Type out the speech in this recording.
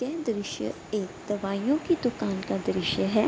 ये दृश्य एक दवाइओ का दुकान का दृश्य है।